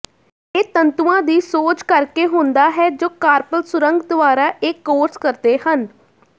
ਇਹ ਤੰਤੂਆਂ ਦੀ ਸੋਜ ਕਰਕੇ ਹੁੰਦਾ ਹੈ ਜੋ ਕਾਰਪਲ ਸੁਰੰਗ ਦੁਆਰਾ ਇਹ ਕੋਰਸ ਕਰਦੇ ਹਨ